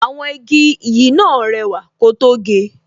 Àwọn igi yìí náà rẹwà ko tó ge